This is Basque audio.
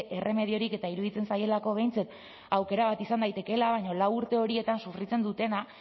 erremediorik eta iruditzen zaielako behintzat aukera bat izan daitekeela baino lau urte horietan sufritzen dutena